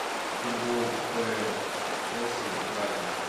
футбол апл челси брайтон